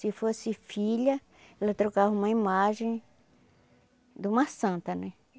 Se fosse filha, ela trocava uma imagem de uma santa, né?